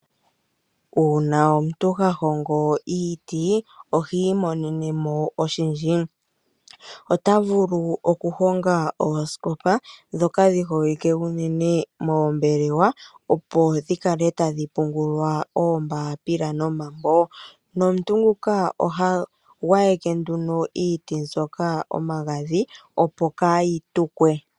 Uuna omuntu ha hongo iiti ohi imonenemo oshindji . Ota vulu okuhonga oosikopa ndhoka dhi holike unene moombelewa opo dhikale tadhi pungulwa oombapila nomambo nomuntu nguka oha gwayeke nduno iiti mbyoka omagadhi opo kaayi tukwe.